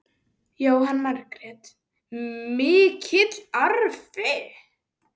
Jóhanna Margrét: Mikill arfi?